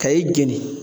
Ka i jeni